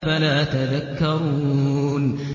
أَفَلَا تَذَكَّرُونَ